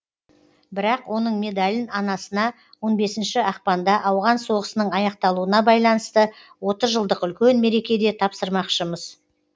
бірақ оның медалін анасына он бесінші ақпанда ауған соғысының аяқталуына байланысты отыз жылдық үлкен мерекеде тапсырмақшымыз